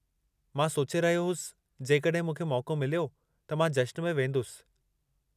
मां सोचे रहियो होसि जेकड॒हिं मूंखे मौक़ो मिलियो, त मां जश्न में वेंदुसि।